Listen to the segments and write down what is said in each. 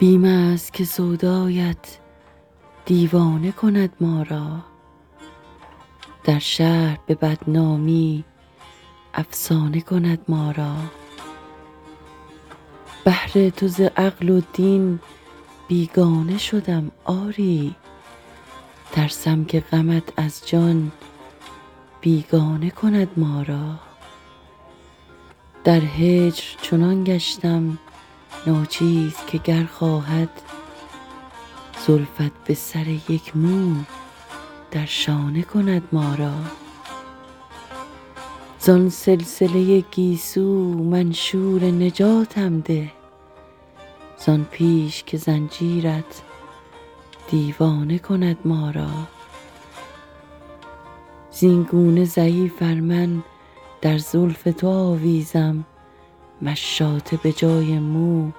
بیم است که سودایت دیوانه کند ما را در شهر به بدنامی افسانه کند ما را بهر تو ز عقل و دین بیگانه شدم آری ترسم که غمت از جان بیگانه کند ما را در هجر چنان گشتم ناچیز که گر خواهد زلفت به سر یک مو در شانه کند ما را زان سلسله گیسو منشور نجاتم ده زان پیش که زنجیرت دیوانه کند ما را زینگونه ضعیف ار من در زلف تو آویزم مشاطه به جای مو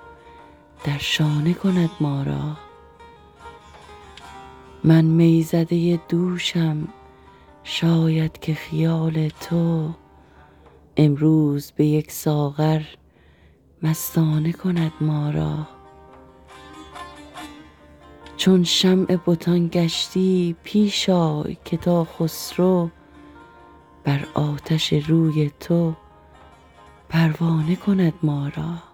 در شانه کند ما را من می زده دوشم شاید که خیال تو امروز به یک ساغر مستانه کند ما را چون شمع بتان گشتی پیش آی که تا خسرو بر آتش روی تو پروانه کند ما را